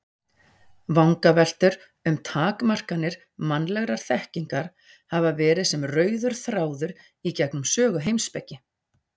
Vangaveltur um takmarkanir mannlegrar þekkingar hafa verið sem rauður þráður í gegnum sögu heimspeki.